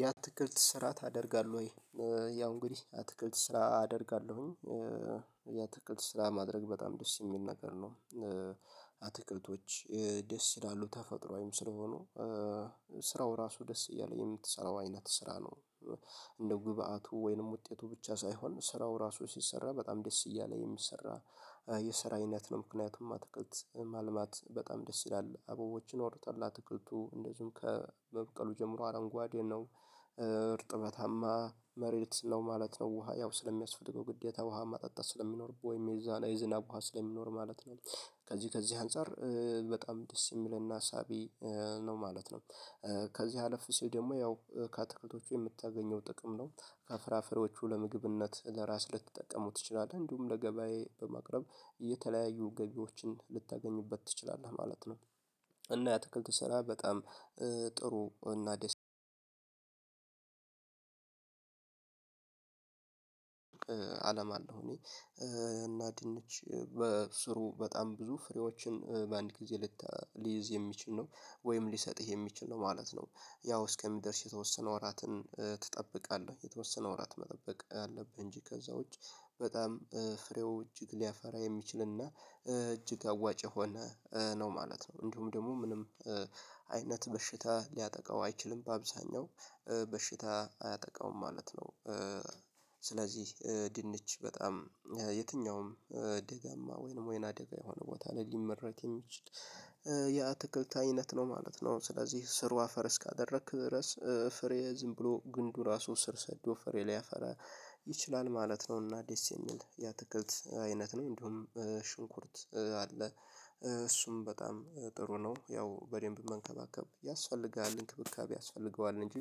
የአትክልት ስራ ታደርጋለህ ወይ? ያው እንግዲህ አትክልት ስራ አደርጋለሁኝ። አትክልት ስራ ማድረግ በጣም ደስ የሚል ነገር ነው። አትክልቶች ደስ ይላሉ ተፈጥሮአዊም ስለሆኑ ስራው ራሱ ደስ እያለ የምትሰራው አይነት ስራ ነው። እንደ ግብዓቱ ወይንም ውጤቱ ብቻ ሳይሆን ስራው ራሱ ሲሰራ በጣም ደስ እያለ የሚሰራ የሰራ አይነት ነው። ምክንያቱም አትክልት ማልማት በጣም ደስ ይላል አበቦችን ወርጠላ አትክልቱ እንደዚሁም ከመብቀሉ ጀምሮ አረንጓዴ ነው። እርጥበታማ መሬት ነው ማለት ነው። ውሃ ያው ስለሚያስፈልገው ግዴታ ውሃ ማጠጣት ስለሚኖርብህ ወይም የዛን የዝናብ ውሃ ስለሚኖር ማለት ነው። ከዚህ ከዚህ አንፃር በጣም ደስ የሚልና ሳቢ ነው ማለት ነው። ከዚህ አለፍ ሲል ደግሞ ያው ከአትክልቶቹ የምታገኘው ጥቅም ነው ከፍራፍሬዎቹ ለምግብነት ለራስ ልትጠቀመው ትችላለህ እንዲሁም ለገበያዬ በማቅረብ እየተለያዩ ገቢዎችን ልታገኙበት ትችላለህ ማለት ነው። እና የአትክልት ስራ በጣም ጥሩ። እና ድንች በስሩ በጣም ብዙ ፍሬዎችን በአንድ ጊዜ ሊይዝ የሚችል ነው ወይም ሊሰጥህ የሚችል ነው ማለት ነው። ያው እስከሚደርስ የተወሰነ ወራትን ትጠብቃለህ የተወሰነ ወራት መጠበቅ አለብህ እንጂ ከዛ ውጪ በጣም ፍሬው እጅግ ሊያፈራ የሚችልና እጅግ አዋጭ የሆነ ነው ማለት ነው። እንዲሁም ደግሞ ምንም አይነት በሽታ ሊያጠቃው አይችልም በአብዛኛው በሽታ አያጠቃውም ማለት ነው። ስለዚህ ድንች በጣም የትኛውም ደጋማ ወይንም ወይና ደጋ የሆነ ቦታ ላይ ሊመረት የሚችል የአትክልት አይነት ነው ማለት ነው። ስለዚህ ስሩ አፈር እስካደረክ ድረስ ፍሬ ዝም ብሎ ግንዱ ራሱ ስር ሰዶ ፍሬ ሊያፈራ ይችላል ማለት ነው። እና ደስ የሚል የአትክልት አይነት ነው። እንዲሁም ሽንኩርት አለ። እሱም በጣም ጥሩ ነው ያው በደንብ መንከባከብ ያስፈልጋል እንክብካቤ ያስፈልገዋል እንጂ።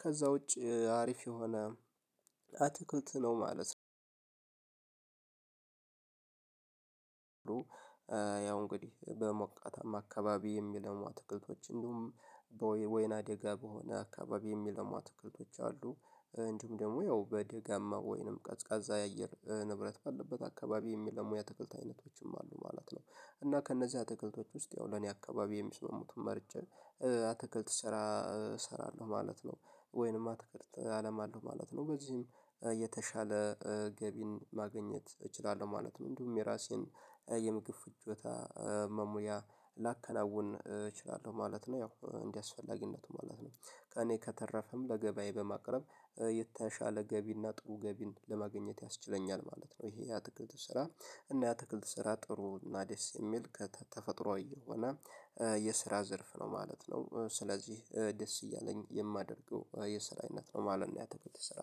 ከዛ ውጪ አሪፍ የሆነ አትክልት ነው ማለት ነው። ያው እንግዲህ በሞቃታማ አካባቢ የሚለው አትክልቶች እንዲሁም ወይና ደጋ በሆነ አካባቢ የሚለሙ አትክልቶች አሉ። እንዲሁም ደግሞ ያው በደጋማ ወይንም ቀዝቃዛ የአየር ንብረት ባለበት አካባቢ የሚለሙ የአትክልት አይነቶችም አሉ ማለት ነው። እና ከእነዚህ አትክልቶች ውስጥ ያው ለኔ አካባቢ የሚስማሙትን መርጨ የአትክልት ስራ እሰራለሁ ማለት ወይንም አትክልት አለም አለው ማለት ነው። በዚህም የተሻለ ገቢን ማግኘት እችላለሁ ማለት ነው። እንዲሁም የራሴን የምግብ ፍጆታ መሙያ ላከናውን እችላለሁ ማለት ነው። ያው እንደ አስፈላጊነቱ ማለት ነው። ከእኔ ከተረፈም ለገበያዬ በማቅረብ የተሻለ ገቢና ጥሩ ገቢን ለማግኘት ያስችለኛል ማለት ነው። ይሄ የአትክልት ስራ እና የአትክልት ስራ ጥሩ እና ደስ የሚል ከተፈጥሮአዊ የሆነ የስራ ዘርፍ ነው ማለት ነው። ስለዚህ ደስ እያለኝ የማደርገው የስራይነት ነው ማለት ነው። የአትክልት ስራ